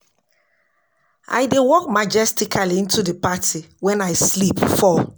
I dey walk majestically into the party wen I slip fall